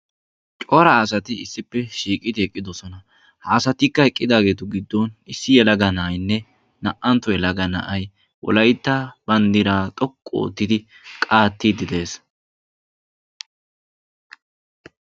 Cora asati issippe shiiqidi eqqidosona. Ha asatikka eqqidaageetu giddon issi yelaga na'aynne naa"antto yelaga na'ay wolaytta banddiraa xoqqu oottidi qaattiiddi dees.